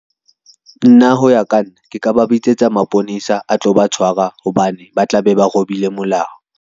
Nna ho ya ka nna, ke ka ba bitsetsa maponesa a tlo ba tshwara, hobane ba tla be ba robile molao.